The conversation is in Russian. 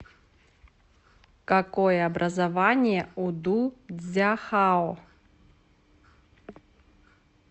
какое образование у ду цзяхао